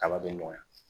Kaba be nɔgɔya